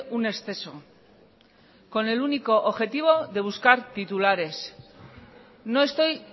un exceso con el único objetivo de buscar titulares no estoy